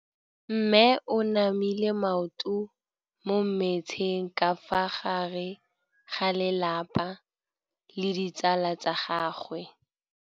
Mme o namile maoto mo mmetseng ka fa gare ga lelapa le ditsala tsa gagwe.